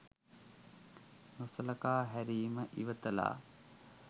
නොසලකා හැරීම ඉවතලා